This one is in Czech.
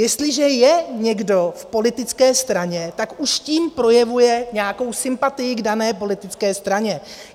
Jestliže je někdo v politické straně, tak už tím projevuje nějakou sympatii k dané politické straně.